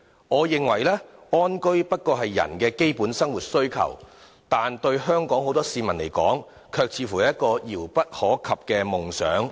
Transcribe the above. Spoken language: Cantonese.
我認為，安居不過是人的基本生活需求，但對很多香港市民而言，卻似乎是一個遙不可及的夢想。